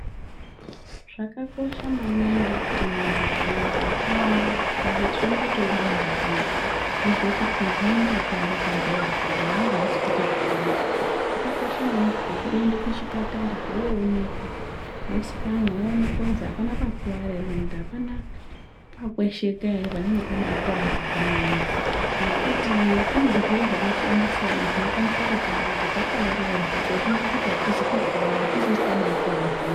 Zvakakosha maningi kuti muntu ukakuwara kana kuti tomboti wodonzha zviyani wozwe kuti ndinenge ndakuware padhoyo apa dhoyo rangu arisei kuite zvakanaka zvakakosha maningi kuti uende kuchipatara woonekwa wosikanwa woonekwa kuti apana pakurwara ere kana kuti apana pakwesheka panenge pakuwara zvakanyanyisa ngekuti kune zvirwere zvakasiyana-siyana zvinokwanisa kutibata takaarairwa teifunga kuti atizi kukuwara tabakuwara zvemene.